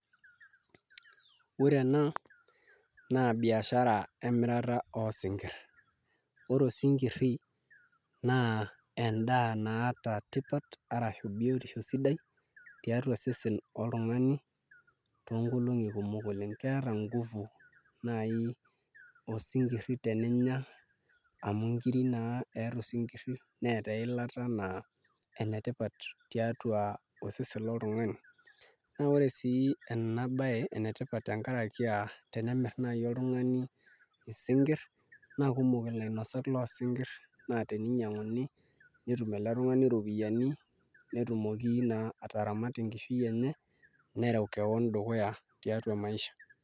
Ore ena naa biashara emirata oosinkirr ore osinkirri naa endaa naata tipat arashu biotisho sidai tiatua iseseni loltung'anak toonkolong'i kumok oleng' keeta nguvu naai osinkirri teninya amu nkiri naa eeta osinkirri neeta eilata naa enetipata tiatua osesen loltung'ani naa ore sii enabaye enetipat tenkaraki aa tenemirr naai oltung'ani isinkirr naa kumok ilainasak loosinkirr naa teninyiang'uni netum ele tung'ani iropiyiani netumoki naa ataramatie enkishui enye nereu kewon dukuya tiatua maisha.